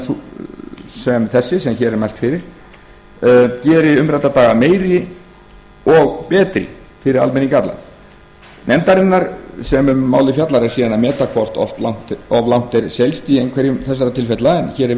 sú skipan sem hér er mælt fyrir geri umrædda daga meiri og betri fyrir almenning allan nefndarinnar sem um málið fjallar er síðan að meta hvort of langt er seilst í einhverjum þessara tilfella en hér er